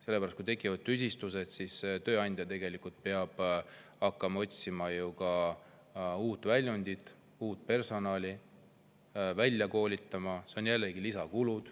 Sellepärast et kui tekivad tüsistused, siis peab tööandja hakkama otsima uut, uut personali välja koolitama, ja see on jällegi lisakulu.